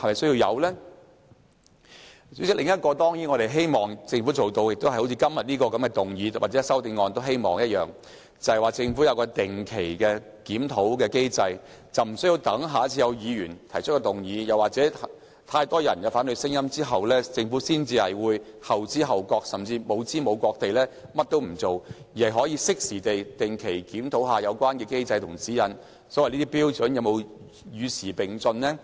主席，我們當然希望政府做到好像今天的議案或修正案提出的，設立一個定期檢討機制，而無須待議員下次提出議案，或有太多人提出反對聲音之後，政府才後知後覺地採取行動，甚至無知無覺地甚麼都不做，而是可以適時地定期檢討有關機制及指引，看看有關標準能否與時並進？